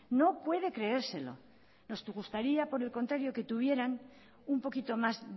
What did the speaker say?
no puede creérselo nos gustaría por el contrario que tuvieran un poquito más